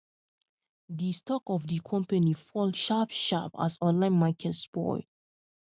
di stock of di company fall sharp sharp as online market spoil